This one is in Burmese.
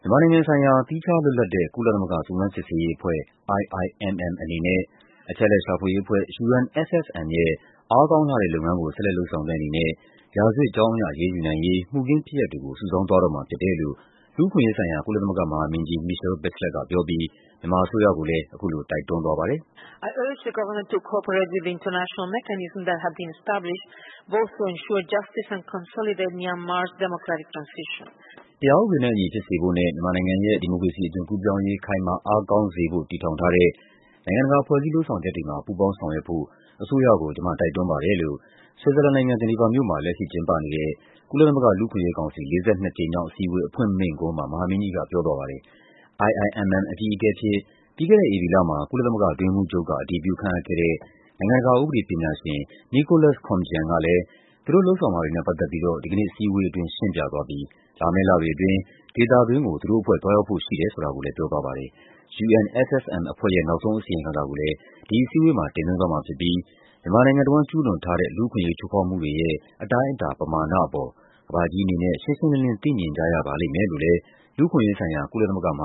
မြန်မာနိုင်ငံဆိုင်ရာ သီးခြားလွတ်လပ်တဲ့ ကုလသမဂ္ဂ စုံစမ်းစစ်ဆေးရေးအဖွဲ့ (IIMM) အနေနဲ့ အချက်အလက်ရှာဖွေရေးအဖွဲ့ (UNFFM) ရဲ့ အားကောင်းလှတဲ့ လုပ်ငန်းကို ဆက်လက်လုပ်ဆောင်တဲ့အနေနဲ့ ရာဇဝတ်ကြောင်းအရ အရေးယူနိုင်ရေး မှုခင်း ဖြစ်ရပ်တွေကို စုဆောင်းသွားတော့မှာ ဖြစ်တယ်လို့ လူ့အခွင့်အရေးဆိုင်ရာ ကုလသမဂ္ဂမဟာမင်းကြီး Michelle Bachelet က ပြောပြီး မြန်မာအစိုးရကိုလည်း အခုလို တိုက်တွန်းသွားပါတယ်။ “တရားဥပဒေနဲ့အညီ ဖြစ်စေဖို့နဲ့ မြန်မာနိုင်ငံရဲ့ ဒီမိုကရေစီအသွင်ကူးပြောင်းရေး ခိုင်မာအားကောင်းစေဖို့ တည်ထောင်ထားတဲ့ နိုင်ငံတကာ ဖွဲ့စည်းလုပ်ဆောင်ချက်တွေမှာ ပူးပေါင်းဆောင်ရွက်ဖို့ အစိုးရကို ကျမတိုက်တွန်းပါတယ်။” လို့ ဆွစ်ဇာလန်နိုင်ငံ၊ ဂျီနီဗာမြို့မှာ လက်ရှိကျင်းပနေတဲ့ ကုလသမဂ္ဂလူ့အခွင့်အရေးကောင်စီ ၄၂ ကြိမ်မြောက်အစည်းအဝေး အဖွင့်မိန့်ခွန်းမှာ မဟာမင်းကြီးက ပြောသွားပါတယ်။ IIMM အကြီးအကဲအဖြစ် ပြီးခဲ့တဲ့ဧပြီလမှာ ကုလသမဂ္ဂအတွင်းရေးမှူးချုပ်က အတည်ပြုခန့်အပ်ခဲ့တဲ့ နိုင်ငံတကာ ဥပဒေပညာရှင် Nicholas Koumjian ကလည်း သူတို့လုပ်ဆောင်မှာတွေနဲ့ ပတ်သက်ပြီးတော့ ဒီကနေ့အစည်းအဝေးအတွင်း ရှင်းပြသွားပြီး လာမယ့်လတွေအတွင်း ဒေသတွင်းကို သူတို့အဖွဲ့ သွားရောက်ဖို့ရှိတယ်ဆိုတာကိုလည်း ပြောသွားပါတယ်။ UNFFM အဖွဲ့ရဲ့ နောက်ဆုံးအစီရင်ခံစာကိုလည်း အခုအစည်းအဝေးအတွင်း တင်သွင်းသွားမှာဖြစ်ပြီး မြန်မာနိုင်ငံတဝန်း ကျူးလွန်ထားတဲ့ လူ့အခွင့်အရေး ချိုးဖောက်မှုတွေရဲ့ အတိုင်းအတာ ပမာဏအပေါ် ကမ္ဘာကြီးအနေနဲ့ ရှင်းရှင်းလင်းလင်း သိမြင်ကြရပါလိမ့်မယ်လို့လည်း လူ့အခွင့်အရေးဆိုင်ရာ ကုလသမဂ္ဂမ